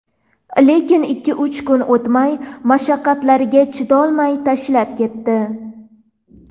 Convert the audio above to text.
Lekin ikki-uch kun o‘tmay mashaqqatlariga chidolmay tashlab ketdi.